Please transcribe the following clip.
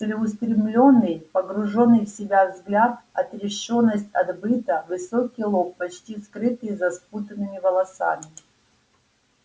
целеустремлённый погруженный в себя взгляд отрешённость от быта высокий лоб почти скрытый за спутанными волосами